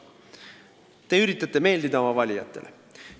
Te üritate meeldida oma valijatele.